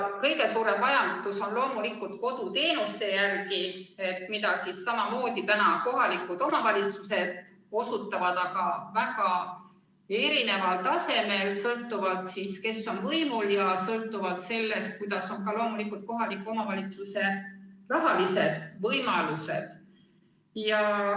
Kõige suurem vajadus on loomulikult koduteenuste järele, mida samamoodi osutavad praegu kohalikud omavalitsused, aga teevad seda väga erineval tasemel, sõltuvalt sellest, kes on võimul, ja loomulikult ka sellest, millised kohaliku omavalitsuse rahalised võimalused.